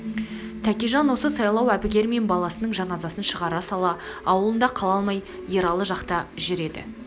тәкежан осы сайлау әбігермен баласының жаназасын шығара сала аулында қала алмай ералы жақта жүр еді